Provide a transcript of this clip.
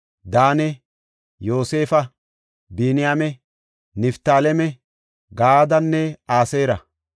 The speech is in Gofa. Daane, Yoosefa, Biniyaame, Niftaaleme, Gaadenne Aseera.